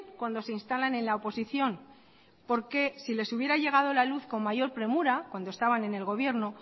cuando se instalan en la oposición porque si les hubiera llegado la luz con mayor premura cuando estaban en el gobierno